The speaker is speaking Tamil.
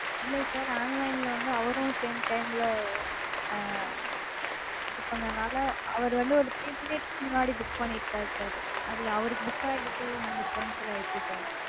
இல்ல sir online -ல வந்து அவரும் same time -ல ஆஹ் book பண்ணதால அவர் வந்து ஒரு three minutes முன்னாடி book பண்ணிருக்கார் sir? அதுல அவருக்கு book ஆயிருக்கு உங்களுக்கு cancel ஆயிருச்சு sir